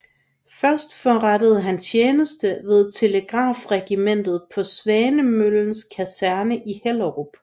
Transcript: Først forrettede han tjeneste ved Telegrafregimentet på Svanemøllens Kaserne i Hellerup